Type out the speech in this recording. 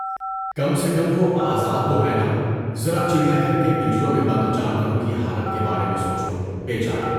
کم سے کم وہ آزاد تو ہیں نا، ذرا چڑیا گھر کے پنجروں میں بند جانوروں کی حالت کے بارے میں سوچو، بے چارے!